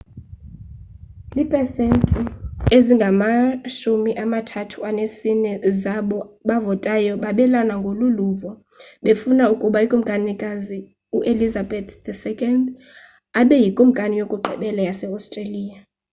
iipesenti ezingama-34 zabo bavotayo babelana ngolu luvo befuna ukuba ukumkanikazi uelizabeth ii abe yikumkani yokugqibela yase-australia